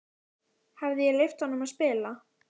Hefði ég leyft honum að spila?